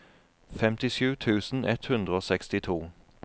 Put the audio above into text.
femtisju tusen ett hundre og sekstito